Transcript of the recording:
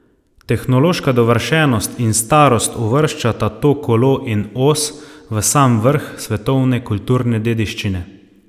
Tehnološka dovršenost in starost uvrščata to kolo in os v sam vrh svetovne kulturne dediščine.